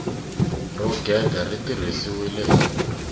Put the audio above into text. ro gega ri tirhisiwile hi